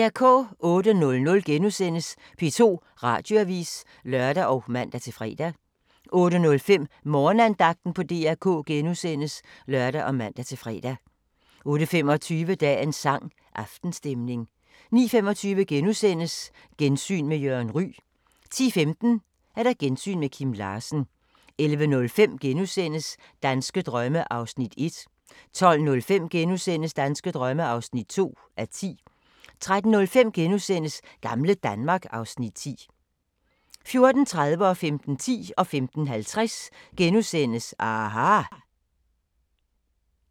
08:00: P2 Radioavis *(lør og man-fre) 08:05: Morgenandagten på DR K *(lør og man-fre) 08:25: Dagens sang: Aftenstemning 09:25: Gensyn med Jørgen Ryg * 10:15: Gensyn med Kim Larsen 11:05: Danske drømme (1:10)* 12:05: Danske drømme (2:10)* 13:05: Gamle Danmark (Afs. 10)* 14:30: aHA! * 15:10: aHA! *